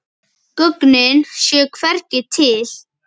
Gögnin séu hvergi til.